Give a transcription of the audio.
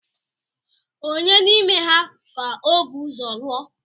Ònye n’ime ha ka ọ bu ụzọ lụọ?